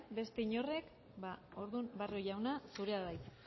beste inork ba orduan barrio jauna zurea da hitza